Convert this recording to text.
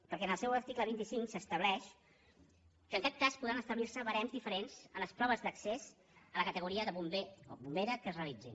perquè en el seu article vint cinc s’estableix que en cap cas podran establir·se barems diferents en les proves d’accés a la categoria de bomber o bombera que es realitzin